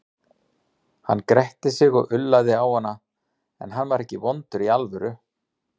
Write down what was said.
Hann gretti sig og ullaði á hana, en hann var ekkert vondur í alvöru.